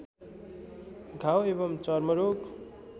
घाउ एवं चर्मरोग